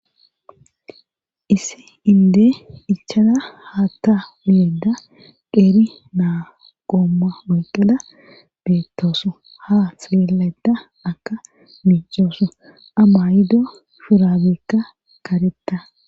issi inde ichada haatta uyeda qeeri naa qoomma oyqqala beettooso ha xeelada akka miicooso ama yido furabeekka karetta